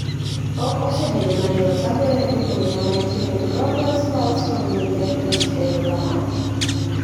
Ok osebedo mayod, agoyo ne jopuonjena mantiere Global Sports Communications erokamano